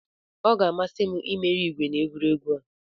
Ọ ga-amasị m imeri igwe na egwuregwu ahụ.